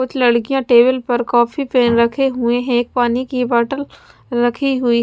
कुछ लड़कियां टेबल पर कॉपी पेन रखे हुएं हैं पानी की बॉटल रखी हुई--